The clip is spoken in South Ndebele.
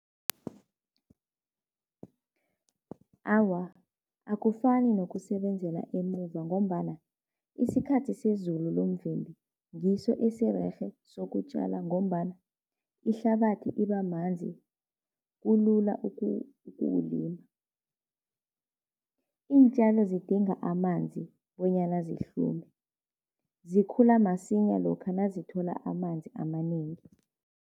Awa, akufani nokusebenzela emuva ngombana isikhathi sezulu lomvimbi ngiso esirerhe sokutjala ngombana ihlabathi iba manzi, kulula ukuwulima. Iintjalo zidinga amanzi bonyana zihlume, zikhula masinya lokha nazithola amanzi amanengi.